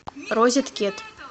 розеткед